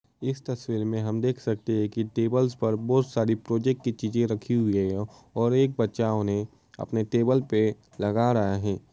इस तस्वीर में हम देख सकते हैं की टेबल्स पर बोहत सारी प्रोजेक्ट की चीजें रखी हुई हैं और एक बच्चा उन्हे अपने टेबल्स पे लगा रहे हैं।